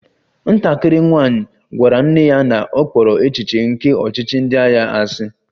Nwatakịrị nwanyị gwara nne ya na ọ kpọrọ echiche nke ọchịchị ndị agha asị